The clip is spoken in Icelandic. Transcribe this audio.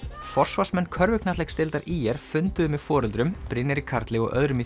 forsvarsmenn körfuknattleiksdeildar funduðu með foreldrum Brynjari Karli og öðrum í